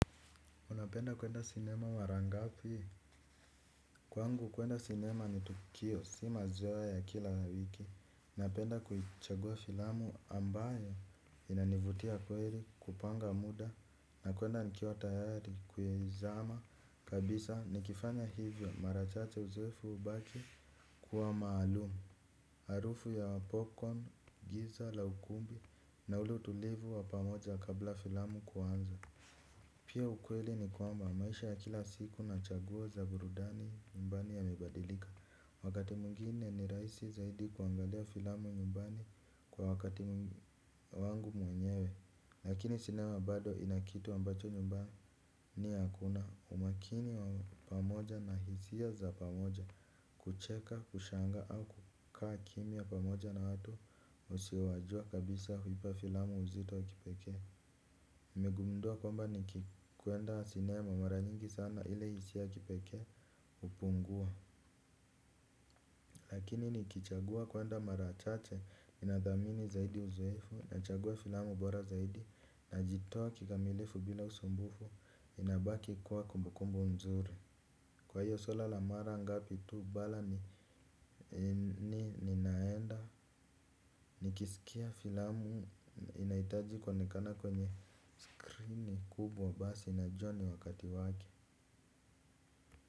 Unapenda kwenda sinema mara ngapi? Kwangu kwenda sinema ni tukio, si mazoeo ya kila wiki. Napenda kuichagua filamu ambayo inanivutia kweli kupanga muda na kwenda nikiwa tayari kuizama. Kabisa nikifanya hivyo mara chache uzoefu hubaki kuwa maalumu. Harufu ya popcorn, giza la ukumbi na ule utulivu wa pamoja kabla filamu kuanza. Pia ukweli ni kwamba maisha ya kila siku na chaguo za burudani nyumbani yamebadilika. Wakati mwingine ni rahisi zaidi kuangalia filamu nyumbani kwa wakati wangu mwenyewe. Lakini sinema bado ina kitu ambacho nyumbani hakuna. Umakini wa pamoja na hisia za pamoja kucheka, kushangaa au kukaa kimya pamoja na watu usiowajua kabisa huipa filamu uzito wa kipekee nimegundua kwamba nikikwenda sinema mara nyingi sana ile hiisia ya kipekee hupungua. Lakini nikichagua kwenda mara chache ninathamini zaidi uzoefu nachagua filamu bora zaidi najitoa kikamilifu bila usumbufu inabaki kuwa kumbukumbu mzuri. Kwa hiyo swala mara ngapi tu bala ni ni ninaenda nikisikia filamu inahitaji kuonekana kwenye skrini kubwa basi najua ni wakati wake.